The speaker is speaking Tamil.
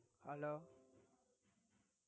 Hello